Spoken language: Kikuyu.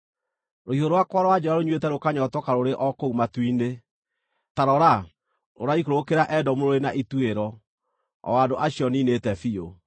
Rũhiũ rwakwa rwa njora rũnyuĩte rũkanyootoka rũrĩ o kũu matu-inĩ; ta rora, rũraikũrũkĩra Edomu rũrĩ na ituĩro, o andũ acio niinĩte biũ.